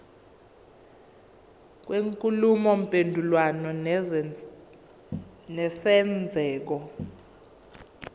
kwenkulumo mpendulwano nesenzeko